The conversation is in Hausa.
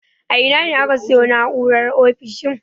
A ina ne aka sayo na'urar ofishin?